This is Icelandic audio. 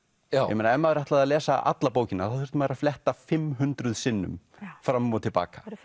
ég meina ef maður ætlaði að lesa alla bókina þá þurfti maður að fletta fimm hundruð sinnum fram og til baka